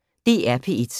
DR P1